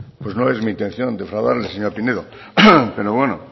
no es mi intención defraudarle señora pinedo